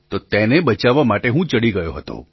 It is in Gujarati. તો તેને બચાવવા માટે હું ત્યાં ચડી ગયો હતો